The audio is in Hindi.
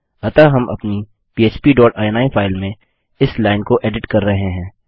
अतः हम अपनी पह्प डॉट इनी फाइल में इस लाइन को एडिट कर रहे हैं